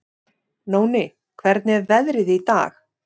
Nóni, hvernig er veðrið í dag?